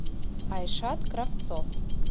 айшат кравцов